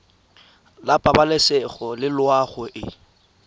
la pabalesego le loago e